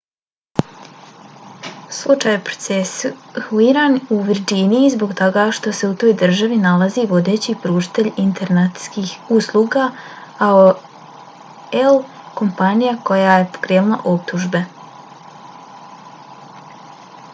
slučaj je procesuiran u virdžiniji zbog toga što se u toj državi nalazi vodeći pružatelj internetskih usluga aol kompanija koja je pokrenula optužbe